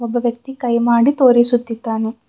ಒಬ್ಬ ವ್ಯಕ್ತಿ ಕೈ ಮಾಡಿ ತೋರಿಸುತ್ತಿದ್ದಾನೆ.